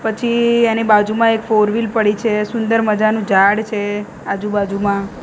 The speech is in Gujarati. પછી એની બાજુમાં એક ફોર વ્હીલ પડી છે સુંદર મજાનુ ઝાડ છે આજુ બાજુમાં.